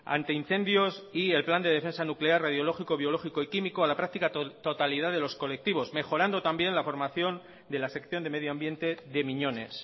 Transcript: ante incendios y el plan de defensa nuclear radiológico biológico y químico a la práctica totalidad de los colectivos mejorando también la formación de la sección de medioambiente de miñones